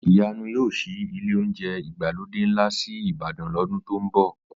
Ìyanu yóò ṣí ilé oúnjẹ ìgbàlódé ńlá sí Ìbàdàn lọ́dún tó ń bọ̀